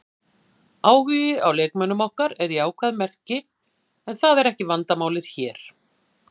Áhugi á leikmönnum okkar er jákvætt merki en það er ekki vandamálið hér.